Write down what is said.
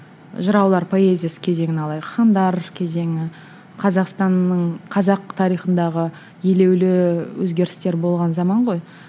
жыраулар поэзиясы кезеңін алайық хандар кезеңі қазақстанның қазақ тарихындағы елеулі өзгерістер болған заман ғой